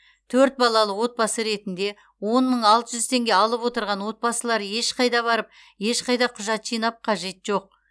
төрт балалы отбасы ретінде он мың алты жүз теңге алып отырған отбасылар ешқайда барып ешқайда құжат жинап қажет жоқ